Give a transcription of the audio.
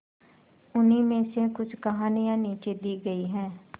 उन्हीं में से कुछ कहानियां नीचे दी गई है